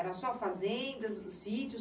Era só fazendas, sítios?